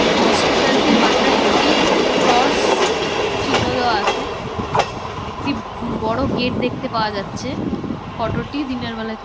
হসপিটালটির মাথায় একটি ক্রস চিহ্ন ও দেয়া আছে একটি বড়ো গেট দেখতে পাওয়া যাচ্ছে ফটোটি দিনের বেলায় তো--